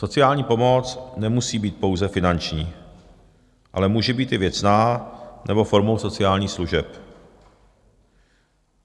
Sociální pomoc nemusí být pouze finanční, ale může být i věcná nebo formou sociálních služeb.